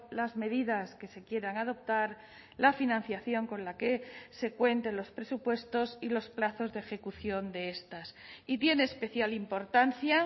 las medidas que se quieran adoptar la financiación con la que se cuente en los presupuestos y los plazos de ejecución de estas y tiene especial importancia